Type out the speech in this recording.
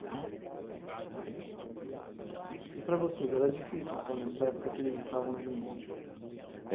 Então... E para vocês, era difícil, então, nessa época que eles estavam juntos?